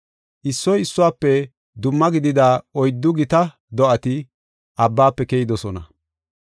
Issoy issuwafe dumma gidida oyddu gita do7ati abbafe keyidosona.